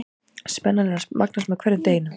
Spennan er að magnast með hverjum deginum.